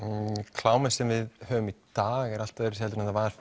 klámið sem að við höfum í dag er allt öðruvísi en það var